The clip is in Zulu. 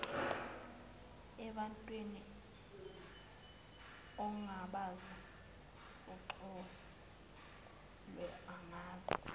ebantwin ongabazi uxoloangazi